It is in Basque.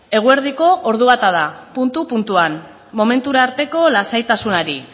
eguerdiko ordu bata da puntu puntuan momentu arteko lasaitasunari